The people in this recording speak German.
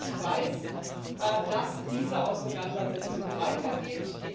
Ich weiß, dass diese Auseinandersetzung weitergeht.